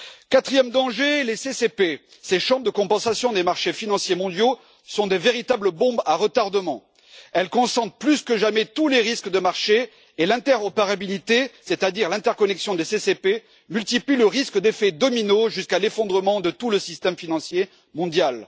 Quatrièmement, les CCP ces chambres de compensation des marchés financiers mondiaux sont de véritables bombes à retardement. Elles concentrent plus que jamais tous les risques de marché et l'interopérabilité, c'est à dire l'interconnexion des CCP, multiplie le risque d'effet domino jusqu'à l'effondrement de tout le système financier mondial.